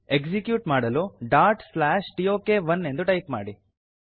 execute ಮಾಡಲು dot slash ಟೋಕ್1 ಎಂದು ಟೈಪ್ ಮಾಡಿ